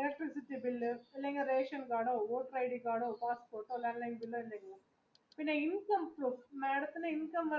electricity bill ration കാർഡോ voter id കാർഡോ പാസ്സ്പോർട്ടോ madam ത്തിന് income